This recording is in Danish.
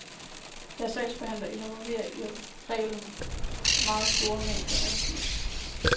Deres sagsbehandling involverer i reglen meget store mængder af papir.